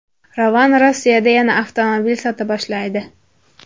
Ravon Rossiyada yana avtomobil sota boshlaydi.